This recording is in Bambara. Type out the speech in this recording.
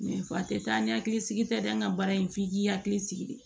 fa tɛ taa ni hakili sigi tɛ dɛ an ka baara in f'i k'i hakili sigi de